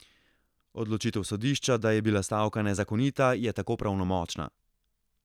Odločitev sodišča, da je bila stavka nezakonita, je tako pravnomočna.